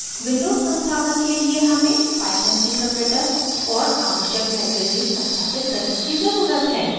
windows संस्थापन के लिए हमें python interpreter और आवश्यक libraries संस्थापित करने की ज़रूरत है